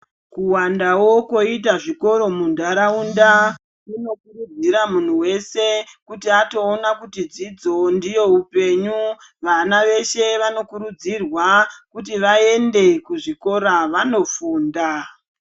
Kuwandawo koyita zvikoro mundaraunda, kunokurudzira muntu wese kuti atowona kuti dzidzo ndiyo upenyu, vana veshe vanokurudzirwa kuti vayende kuzvikora vanofunda.